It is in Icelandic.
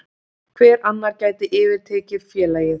Hver annar gæti yfirtekið félagið?